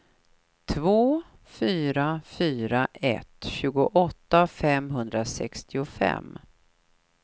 två fyra fyra ett tjugoåtta femhundrasextiofem